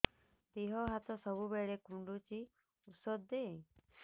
ଦିହ ହାତ ସବୁବେଳେ କୁଣ୍ଡୁଚି ଉଷ୍ଧ ଦେ